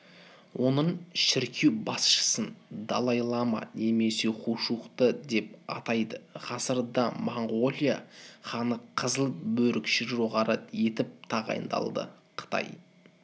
оның шіркеу басшысын далай-лама немесе хушухты деп атайды ғасырда моңғолия ханы қызыл бөрікші жоғары етіп тағайындалды қытай